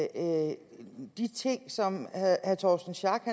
at de ting som herre torsten schack